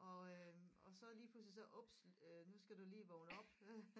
og øh og så lige pludselig så ups øh nu skal du lige vågne op